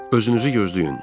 Özünüzü gözləyin.